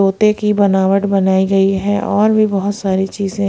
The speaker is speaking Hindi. तोते की बनावट बनाई गई है और भी बहोत सारी चीजे--